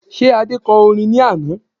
Ṣé Adé kọ orin ní àná?